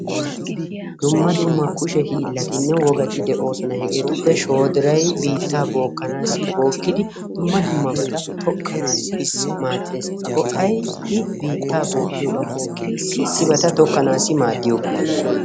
Dumma dumma kushe hiilatine woggati de'osona. Hegeetupe shoodiray biitta bookanasi, bookkidi dumma dummabata tokkanasi maadees. A go'ay i biittaa bookkiyoogan bookkin issi issibata tokkanawu maaddiyoogaa.